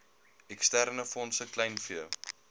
eksterne fondse kleinvee